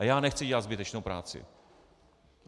A já nechci dělat zbytečnou práci.